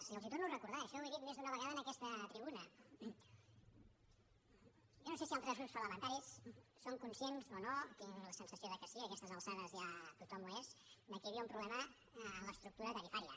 i els ho torno a recordar això ho he dit més d’una vegada en aquesta tribuna jo no sé si altres grups parlamentaris són conscients o no tinc la sensació que sí a aquestes alçades ja tothom n’és que hi havia un problema en l’estructura tarifària